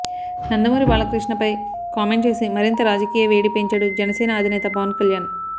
నందమూరి బాలకృష్ణ పై కామెంట్ చేసి మరింత రాజకీయ వేడి పెంచాడు జనసేన అధినేత పవన్ కళ్యాణ్